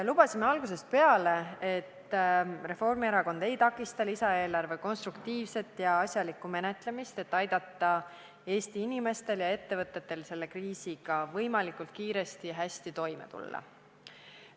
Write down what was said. Lubasime algusest peale, et Reformierakond ei takista lisaeelarve konstruktiivset ja asjalikku menetlemist, et aidata Eesti inimestel ja ettevõtetel selle kriisiga võimalikult kiiresti ja hästi toime tulla.